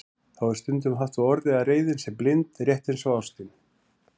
Þá er stundum haft á orði að reiðin sé blind, rétt eins og ástin.